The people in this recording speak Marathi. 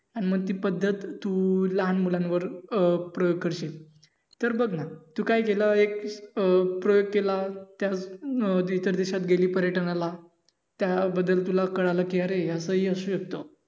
आणि मग ती पद्धत तू लहानमुलांवर अं प्रयोग करशील. तर बग ना तू काय केलं एक प्रयोग केलास त्याच हम्म इतर देशात गेली पर्यटनाला त्या बद्दल तुला हि कळालं कि अरे असं हि असू शकत.